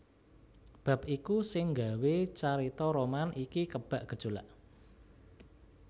Bab iku sing gawé carita roman iki kebak gejolak